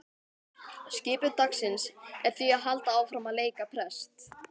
Skipun dagsins er því að halda áfram að leika prest.